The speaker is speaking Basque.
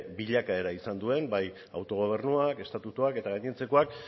bilakaera izan duen bai autogobernuak estatutuak eta gainontzekoak